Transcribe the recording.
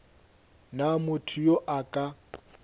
na motho yo a ka